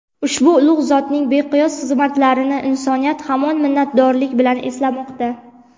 Ushbu ulug‘ zotning beqiyos xizmatlarini insoniyat hamon minnatdorlik bilan eslamoqda.